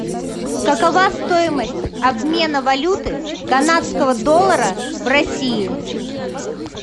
какова стоимость обмена валюты канадского доллара в россии